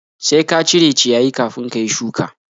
Sai ka cire ciyayi kafin ka yi shuka!